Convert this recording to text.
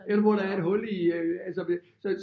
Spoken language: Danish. Eller hvor der er et hul i altså så